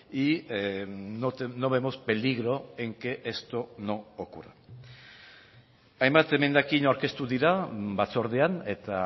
y no vemos peligro en que esto no ocurra hainbat emendakin aurkeztu dira batzordean eta